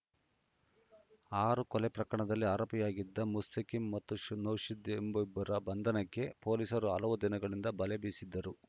ಆರು ಕೊಲೆ ಪ್ರಕರಣಗಳಲ್ಲಿ ಆರೋಪಿಯಾಗಿದ್ದ ಮುಸ್ತಕೀಂ ಮತ್ತು ನೌಶಾದ್‌ ಎಂಬಿಬ್ಬರ ಬಂಧನಕ್ಕೆ ಪೊಲೀಸರು ಹಲವು ದಿನಗಳಿಂದ ಬಲೆ ಬೀಸಿದ್ದರು